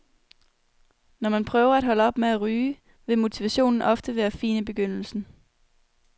Når man prøver at holde op med at ryge, vil motivationen ofte være fin i begyndelsen.